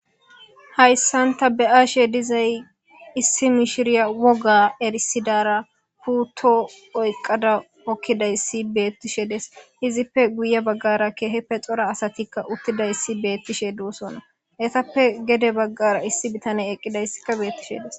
hayssan ta be'aashe dizay issi mishiriya woga erisidara putto oyqqada okkidayssi beettishe des izippe guye baggara keeheppe xora asatikka uttidayssi beettishe duosonna hetappe gede baggara issi bitane eqqidayssikka beettishe des